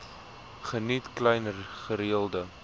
geniet klein gereelde